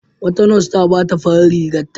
Wata nas ta ɓata farar rigarta.